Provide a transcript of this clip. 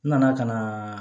N nana ka na